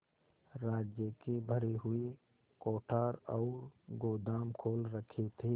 राज्य के भरे हुए कोठार और गोदाम खोल रखे थे